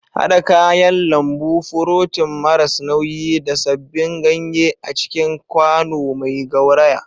Haɗa kayan lambu, furotin maras nauyi, da sabbin ganye a cikin kwano mai gauraya.